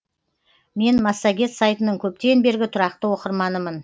мен массагет сайтының көптен бергі тұрақты оқырманымын